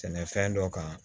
Sɛnɛfɛn dɔ kan